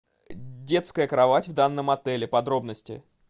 детская кровать в данном отеле подробности